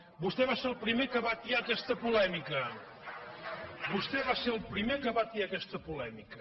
vostè va ser el primer que va atiar aquesta polèmica vostè va ser el primer que va atiar aquesta polèmica